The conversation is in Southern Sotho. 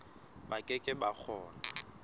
ba ke ke ba kgona